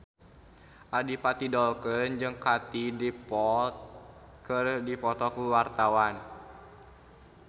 Adipati Dolken jeung Katie Dippold keur dipoto ku wartawan